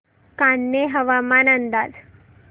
कान्हे हवामान अंदाज